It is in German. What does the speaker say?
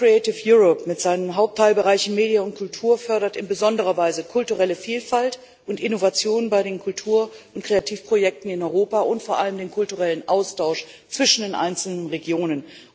Das Programm mit seinen Hauptteilbereichen MEDIA und Kultur fördert in besonderer Weise kulturelle Vielfalt und Innovationen bei den Kultur und Kreativprojekten in Europa und vor allem den kulturellen Austausch zwischen den einzelnen Regionen.